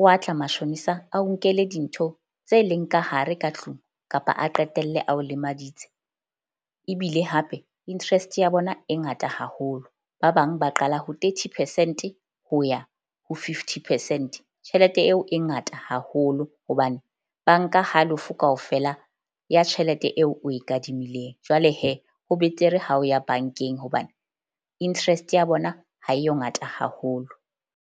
o a tla mashonisa a o, nkele dintho tse leng ka hare ka tlung kapa a qetelle a o lemaditse. Ebile hape interest ya bona e ngata haholo. Ba bang ba qala ho thirty percent-e ho ya ho fifty percent. Tjhelete eo e ngata haholo hobane ba nka halofo kaofela ya tjhelete eo o e kadimileng. Jwale ho betere ha o ya bank-eng hobane interest ya bona ha e yo ngata haholo.